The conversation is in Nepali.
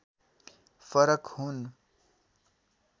फरक हुन्